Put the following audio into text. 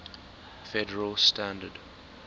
federal standard